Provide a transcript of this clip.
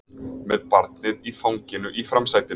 Með barnið í fanginu í framsætinu